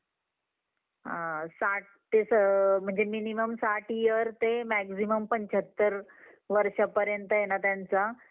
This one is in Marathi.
आणि comedy बग comedy बघितल्याने थोडस आपल्याला अं म्हणजे अं म्हणजेच आपल्याला tension काय असेल ते comedy बघितल्यावर आपण थोडंसं relax पण होऊन जातो मला असं वाटत तुम्हाला आनखी काय वाटत